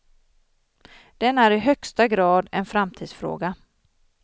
Den är i högsta grad en framtidsfråga.